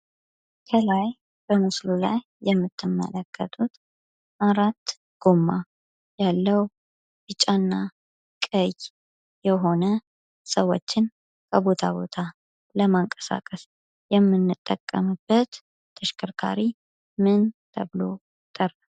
ከላይ በምስሉ ላይ የምትመለከቱት አራት ጎማ ያለው ፣ቢጫና ቀይ የሆነ፣ ሰዎችን ከቦታ ቦታ ለማንቀሳቀስ የምንጠቀምበት ተሽከርካሪ ምን ተብሎ ይጠራል?